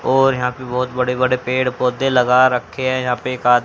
और यहां पे बहुत बड़े बड़े पेड़ पौधे लगा रखे हैं यहां पे एक आद--